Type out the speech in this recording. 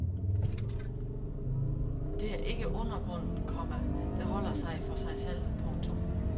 Det er ikke undergrunden, komma der holder sig for sig selv. punktum